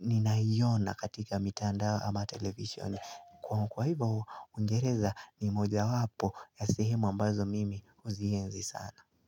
Ninaiona katika mitandao ama television Kwa hivyo, uingereza ni moja wapo ya sehemu ambazo mimi uzienzi sana.